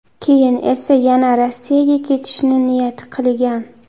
Keyin esa yana Rossiyaga ketishni niyat qilgan.